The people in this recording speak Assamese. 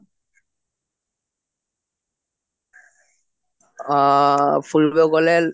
আ ফুৰিবলৈ গলে